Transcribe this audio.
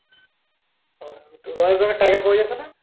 ও তা royal bengal tiger পাওয়া যেত না?